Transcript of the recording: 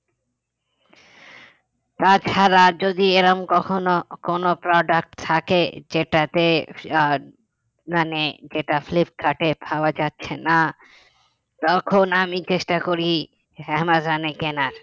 তাছাড়া যদি এরকম কখনো কোনো product থাকে যেটাতে আহ মানে যেটা ফ্লিপকার্টে পাওয়া যাচ্ছে না তখন আমি চেষ্টা করি অ্যামাজনে কেনার